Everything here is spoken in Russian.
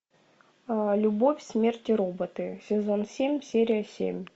любовь смерть и роботы сезон семь серия семь